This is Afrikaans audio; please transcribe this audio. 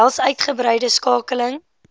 behels uitgebreide skakeling